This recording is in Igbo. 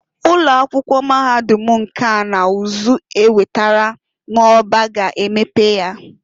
Ụloakwụkwọ Mahadum nka na uzu ewetara n'Orba ga emepe ya.